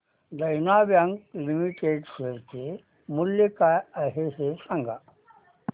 देना bank limited share चे मूल्य काय आहे हे सांगा